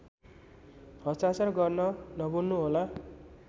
हस्ताक्षर गर्न नभुल्नुहोला